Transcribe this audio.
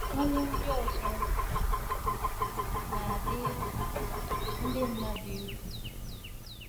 Ọnwụ ndị ọzọ —— na adị ndị mmadụ egwu.